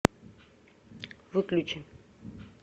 выключи